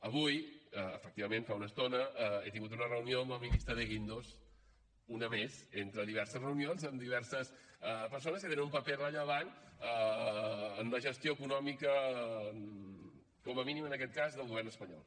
avui efectivament fa una estona he tingut una reunió amb el ministre de guindos una més entre diverses reunions amb diverses persones que tenen un paper rellevant en la gestió econòmica com a mínim en aquest cas del govern espanyol